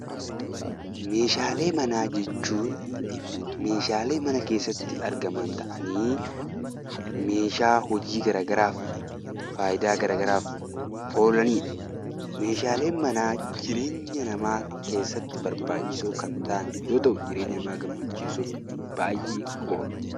Meeshaalee manaa jechuun meeshaalee mana keessatti argaman ta'anii meeshaa hojii garaa garaaf, faayidaa garaa garaaf oolaniidha. Meeshaaleen manaa jireenya namaa keessatti barbaachisoo kan ta'an yoo ta'u jireenya namaa gammachiisuuf baayyee oolu.